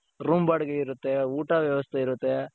room ಬಾಡಿಗೆ ಇರುತ್ತೆ ಊಟ ವ್ಯವಸ್ಥೆ ಇರುತ್ತೆ .